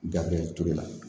Gafe turu la